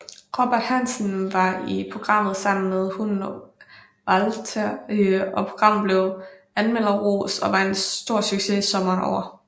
Robert Hansen var i programmet sammen med hunden Walther og programmet blev anmmelderrost og var en stor succes sommeren over